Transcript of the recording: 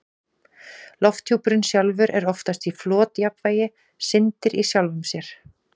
Lofthjúpurinn sjálfur er oftast í flotjafnvægi, syndir í sjálfum sér.